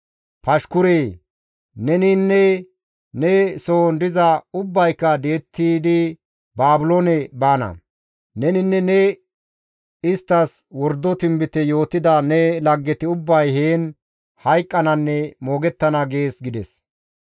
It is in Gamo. Pashkure! Neninne ne sohon diza ubbayka di7ettidi Baabiloone baana. Neninne ne isttas wordo tinbite yootida ne laggeti ubbay heen hayqqananne moogettana› gees» gides.